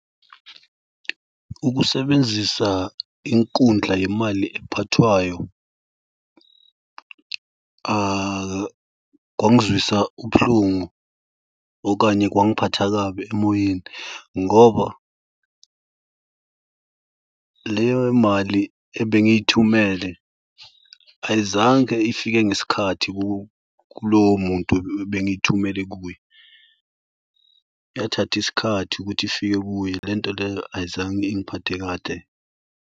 Ukusebenzisa inkundla yemali ephathwayo kwangizwisa ubuhlungu okanye kwangiphatha kabi emoyeni ngoba leyo mali ebengiyithumele ayizange ifike ngesikhathi kulowo muntu ebengithumele kuye. Yathatha isikhathi ukuthi ifike kuye le nto leyo ayizange ingiphathe kahle.